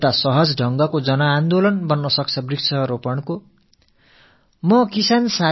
இது மரம் நடுதல் தொடர்பான ஒரு மக்கள் இயக்கத்துக்கு வழிவகுக்கக் கூடும்